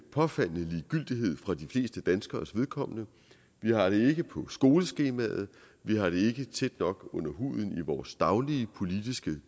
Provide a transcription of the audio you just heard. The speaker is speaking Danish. påfaldende ligegyldighed for de fleste danskeres vedkommende vi har det ikke på skoleskemaet vi har det ikke tæt nok under huden i vores daglige politiske